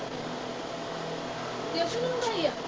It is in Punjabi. ਚਿਪਸ ਮੰਗਵਾਈ ਆ